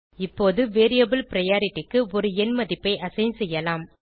இப்போது variable priority க்கு ஒரு எண் மதிப்பை அசைன் செய்யலாம்